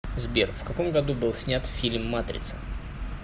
сбер в каком году был снят фильм матрица